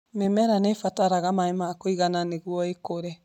Mĩmera nĩ ĩbataraga maĩ makũigana nĩguo ĩkũre.